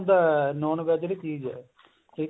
non VEG ਵੀ ਚੀਜ਼ ਹੈ